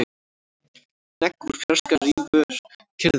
Hnegg úr fjarska rýfur kyrrðina.